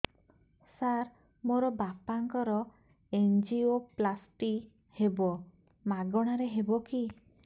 ସାର ମୋର ବାପାଙ୍କର ଏନଜିଓପ୍ଳାସଟି ହେବ ମାଗଣା ରେ ହେବ କି